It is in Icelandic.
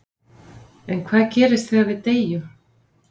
En hvað gerist þegar við deyjum?